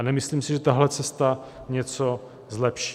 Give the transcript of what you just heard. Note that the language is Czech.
A nemyslím si, že tahle cesta něco zlepší.